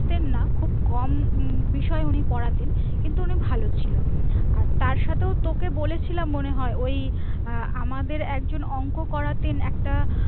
খুব কম বিষয়ে উনি পড়াতেন কিন্তু অনেক ভালো ছিল আর তার সাথেও তোকে বলেছিলাম মনে হয় ওই আমাদের একজন অংক করতেন শিখতেন না